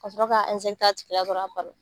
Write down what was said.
Ka sɔrɔ ka a tigi la dɔrɔn a ban na.